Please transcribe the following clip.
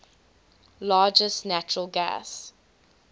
largest natural gas